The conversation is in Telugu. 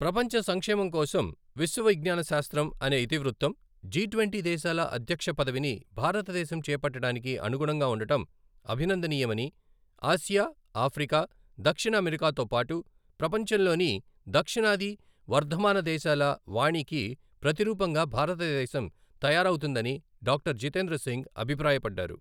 ప్రపంచ సంక్షేమం కోసం విశ్వ విజ్ఞానశాస్త్రం అనే ఇతివృత్తం, జి ట్వంటీ దేశాల అధ్యక్ష పదవిని భారతదేశం చేపట్టడానికి అనుగుణంగా ఉండటం అభినందనీయమని, ఆసియా, ఆఫ్రికా, దక్షిణఅమెరికాతో పాటు, ప్రపంచంలోని దక్షిణాది వర్ధమాన దేశాల వాణికి ప్రతిరూపంగా భారతదేశం తయారవుతుందని డాక్టర్ జితేంద్ర సింగ్ అభిప్రాయపడ్డారు.